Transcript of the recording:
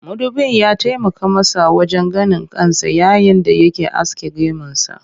Mudubin ya taimaka masa wajen ganin kansa yayin da yake aske gemunsa